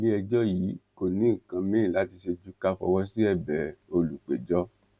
iléẹjọ yìí kò ní nǹkan míín láti ṣe ju ká fọwọ sí ẹbẹ olùpẹjọ